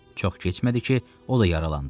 Çox keçmədi ki, o da yaralandı.